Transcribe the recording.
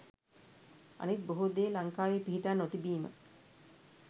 අනිත් බොහේ දේ ලංකාවේ පිහිටා නොතිබීම